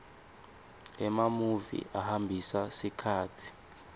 emamuvi ahambisa sikhatsi